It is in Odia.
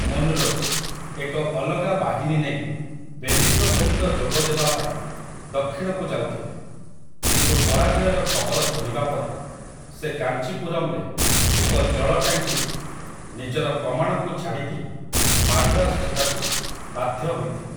ମୁନରୋ, ଏକ ଅଲଗା ବାହିନୀ ନେଇ ବେଲିଙ୍କ ସହିତ ଯୋଗ ଦେବାପାଇଁ ଦକ୍ଷିଣକୁ ଯାଉଥିଲେ, କିନ୍ତୁ ପରାଜୟର ଖବର ଶୁଣିବା ପରେ ସେ କାଞ୍ଚିପୁରମ୍‌ରେ ଏକ ଜଳ ଟାଙ୍କିରେ ନିଜର କମାଣକୁ ଛାଡ଼ି ଦେଇ ମାଡ୍ରାସ ଯିବାକୁ ବାଧ୍ୟ ହୋଇଥିଲେ ।